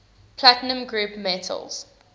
platinum group metals